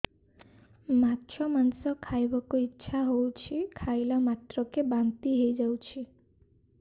ମାଛ ମାଂସ ଖାଇ ବାକୁ ଇଚ୍ଛା ହଉଛି ଖାଇଲା ମାତ୍ରକେ ବାନ୍ତି ହେଇଯାଉଛି